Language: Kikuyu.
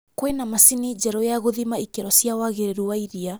kwĩna macini njerũ ya gũthima ikĩro cia wagĩrĩru wa iria